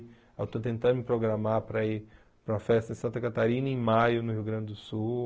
Eu estou tentando me programar para ir para uma festa em Santa Catarina em maio no Rio Grande do Sul.